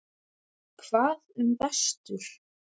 Hvað um vestur?